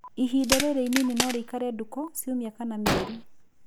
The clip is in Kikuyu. Ihinda rĩrĩ inini norĩikare ndukũ, ciumia kana mĩeri